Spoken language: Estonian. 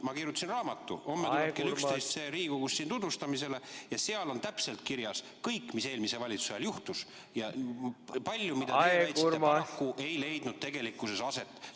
Ma kirjutasin raamatu, homme kell 11 tuleb see Riigikogus tutvustamisele, ja seal on täpselt kirjas kõik, mis eelmise valitsuse ajal juhtus ja palju sellist, mis paraku ei leidnud tegelikkuses aset.